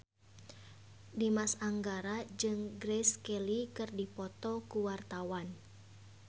Dimas Anggara jeung Grace Kelly keur dipoto ku wartawan